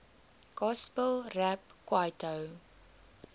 gospel rap kwaito